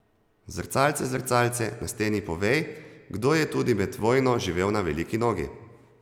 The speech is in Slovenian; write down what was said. Zrcalce, zrcalce na steni, povej, kdo je tudi med vojno živel na veliki nogi?